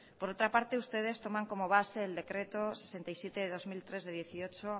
por otra parte ustedes toman como base el decreto sesenta y siete barra dos mil tres de dieciocho